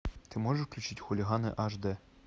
ты можешь включить хулиганы аш дэ